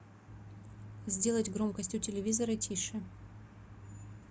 сделать громкость у телевизора тише